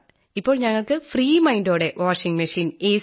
ഇപ്പോൾ ഞങ്ങൾക്ക് ഫ്രീ mindഓടെ വാഷിംഗ് മെഷീൻ എ